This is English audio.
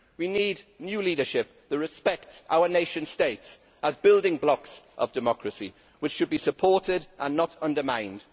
We need new leadership that respects our nation states as building blocks of democracy which should be supported and not undermined.